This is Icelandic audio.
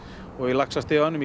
og í laxastiganum í